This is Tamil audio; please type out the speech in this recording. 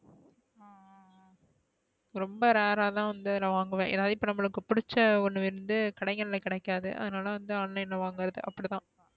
ரொம்ப rare அ தான் வந்து நா வாங்குவேன் என்ன நமக்கு பிடிச்சா ஒன்னு வந்து கடைகள கிடைக்காது அது நல வந்து online ல வாங்குறது அப்டிதான்.